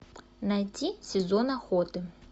найди сезон охоты